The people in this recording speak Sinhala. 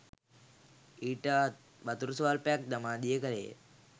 ඊට වතුර ස්වල්පයක් දමා දිය කළේය.